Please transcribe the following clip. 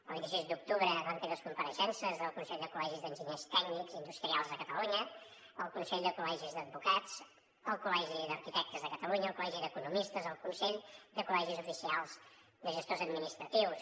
el vint sis d’octubre vam tenir les compareixences del consell de col·legis d’enginyers tècnics industrials de catalunya el consell de col·legis d’advocats el col·legi d’arquitectes de catalunya el col·legi d’economistes el consell de col·legis oficials de gestors administratius